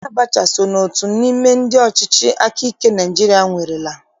Sani Abacha so n'otu n'ime ndị ọchịchị akaike nke Naịjirịa nwerela